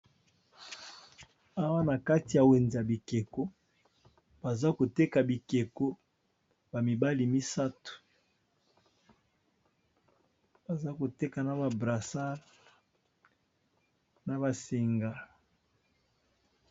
Awa na kati ya wenze ya bikeko, baza koteka bikeko ba mibale misato baza koteka na ba brassard na ba singa.